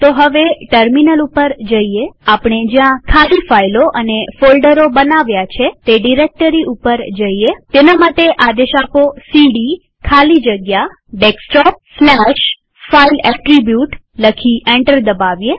તો હવે ટર્મિનલ ઉપર જઈએઆપણે જ્યાં ખાલી ફાઈલો અને ફોલ્ડરો બનાવ્યા છે તે ડિરેક્ટરી ઉપર જઈએતેના માટે સીડી ખાલી જગ્યા ડેસ્કટોપ સ્લેશ ફાઇલ એટ્રીબ્યુટ લખી એન્ટર દબાવીએ